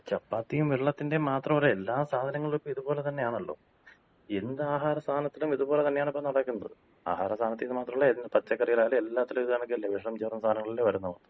ചപ്പാത്തിയും വെള്ളത്തിന്‍റെയും മാത്രല്ല. എല്ലാ സാധനങ്ങളും ഇപ്പൊ ഇതുപോലെ തന്നെയാണല്ലോ. എന്താഹാരസാനത്തിലും ഇത് പോലെ തന്നെയാണിപ്പൊ നടക്കുന്നത്. ആഹാരസാനത്തീന്ന് മാത്രല്ല പച്ചക്കറിലായാലും എല്ലാത്തിലും ഇത് കണക്കല്ലേ. വെഷം ചേർന്ന സാധനങ്ങളല്ലെ വരുന്നത്.